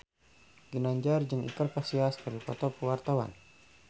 Ginanjar jeung Iker Casillas keur dipoto ku wartawan